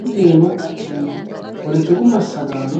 Misilete iima la'neemmohu poletiku massagaano